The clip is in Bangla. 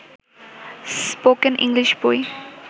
স্পোকেন ইংলিশ বই